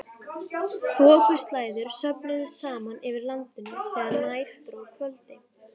Þokuslæður söfnuðust saman yfir landinu þegar nær dró kvöldi.